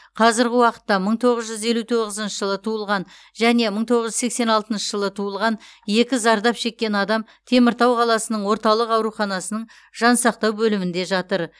қазірғі уақытта мың тоғыз жүз елу тоғызыншы жылы туылған және мың тоғыз жүз сексен алтыншы жылы туылған екі зардап шеккен адам теміртау қаласының орталық ауруханасының жансақтау бөлімінде жатыр